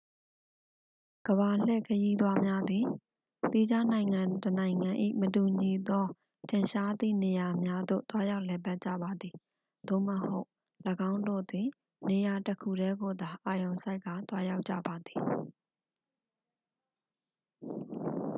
ကမ္ဘာလှည့်ခရီးသွားများသည် သီးခြားနိုင်ငံတစ်နိုင်ငံ၏ မတူညီသော ထင်ရှားသည့်နေရာများသို့ သွားရောက်လည်ပတ်ကြပါသည် သို့မဟုတ် ၎င်းတို့သည် နေရာ တစ် ခုတည်းကိုသာအာရုံစိုက်ကာ သွားရောက်ကြပါသည်